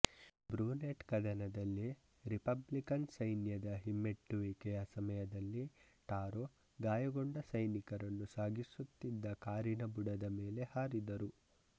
Brunete ಕದನದಲ್ಲಿ Republican ಸೈನ್ಯದ ಹಿಮ್ಮೆಟ್ಟುವಿಕೆಯ ಸಮಯದಲ್ಲಿ ಟಾರೊ ಗಾಯಗೊಂಡ ಸೈನಿಕರನ್ನು ಸಾಗಿಸುತ್ತಿದ್ದ ಕಾರಿನ ಬುಡದ ಮೇಲೆ ಹಾರಿದರು